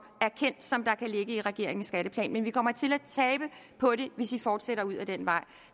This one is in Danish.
som jeg erkender kan ligge i regeringens skatteplan vi kommer til at tabe på det hvis man fortsætter ud ad den vej